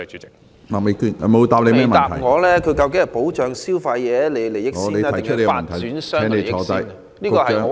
局長沒有回答我，他究竟先保障消費者的利益，還是發展商的利益？